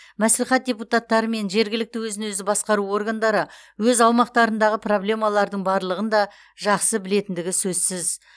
мәслихат депутаттары мен жергілікті өзін өзі басқару органдары өз аумақтарындағы проблемалардың барлығын да жақсы білетіндігі сөзсіз